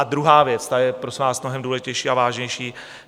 A druhá věc, ta je, prosím vás, mnohem důležitější a vážnější.